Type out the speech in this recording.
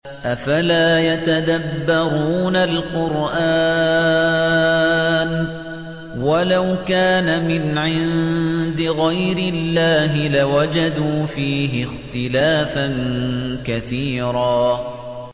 أَفَلَا يَتَدَبَّرُونَ الْقُرْآنَ ۚ وَلَوْ كَانَ مِنْ عِندِ غَيْرِ اللَّهِ لَوَجَدُوا فِيهِ اخْتِلَافًا كَثِيرًا